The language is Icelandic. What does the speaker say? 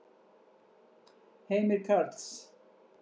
Heimir Karls.